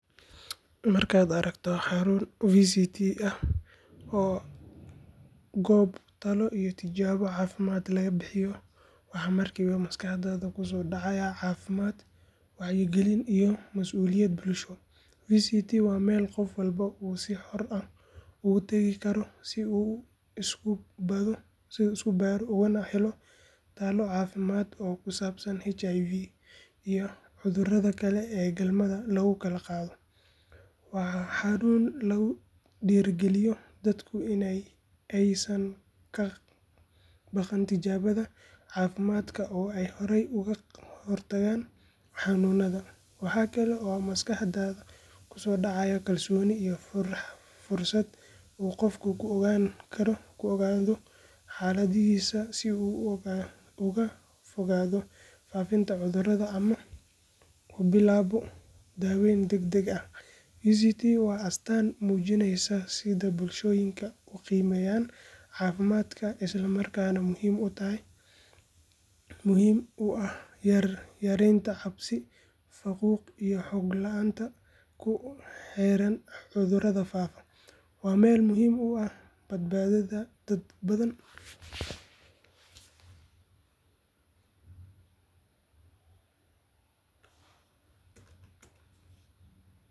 Markaad aragto xarun VCT ah oo ah goob talo iyo tijaabo caafimaad laga bixiyo, waxaa markiiba maskaxdaada kusoo dhacaya caafimaad, wacyigelin iyo mas’uuliyad bulsho. VCT waa meel qof walba uu si xor ah ugu tagi karo si uu isu baadho ugana helo talo caafimaad oo ku saabsan HIV iyo cudurrada kale ee galmada lagu kala qaado. Waa xarun lagu dhiirrigeliyo dadku in aysan ka baqan tijaabada caafimaadka oo ay horay uga hortagaan xanuunada. Waxa kale oo maskaxdaada kusoo dhacaya kalsooni iyo fursad uu qofku ku ogaado xaaladdiisa si uu uga fogaado faafinta cudurka ama u bilaabo daaweyn degdeg ah. VCT waa astaan muujinaysa sida bulshooyinka u qiimeeyaan caafimaadka, isla markaana muhiim u ah yareynta cabsi, faquuq iyo xog la’aanta ku xeeran cudurrada faafa. Waa meel muhiim u ah badbaadada dad badan.